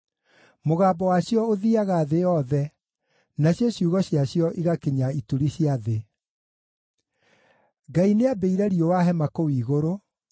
Mũgambo wacio ũthiiaga thĩ yothe, nacio ciugo ciacio igakinya ituri cia thĩ. Ngai nĩambĩire riũa hema kũu igũrũ,